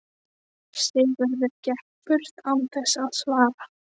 Sigurður gekk burt án þess að svara.